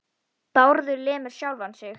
Bárður lemur sjálfan sig.